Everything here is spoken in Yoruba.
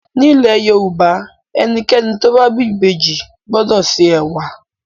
Nílẹ̀ Yorùbá ẹnikẹ́ni tó bá bí ìbejì gbọ́dọ̀ se ẹ̀wà.